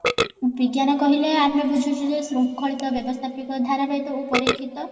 ବିଜ୍ଞାନ କହିଲେ ଆମେ ବୁଝୁଛୁ ଯେ ସୁଙ୍ଖଳିତ ବ୍ୟବସ୍ତାପିକ ଧାରାବାହିକ ଓ ପରୀକ୍ଷିତ